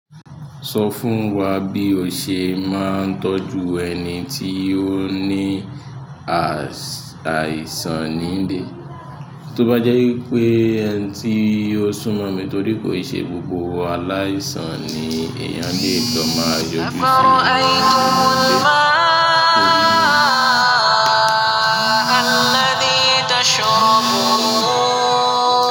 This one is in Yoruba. Sọ fún wa bí o ṣe máa ń tọ́jú ẹni tí ó ní àìsàn ní ilé. Tóbá jẹ́ wípé ẹni tí ó súnmọ́ mi torí kò ì ṣe gbogbo aláìsàn ni èèyàn lè lọ máa yọjú si ni inú ile.